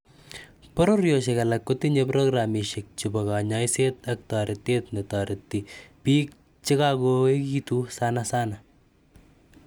Pororioshek alak kotinye programishek chebo kanyaiset ak taretet netareti piik che kakoekitu sanasana.